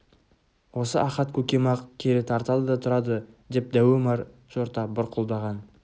осы ахат көкем-ақ кері тартады да тұрады деп дәу омар жорта бұрқылдаған